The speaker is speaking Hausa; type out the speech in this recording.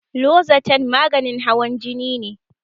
Lozatan maganin hawan jini ne